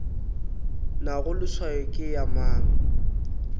nago leswao ke ya mang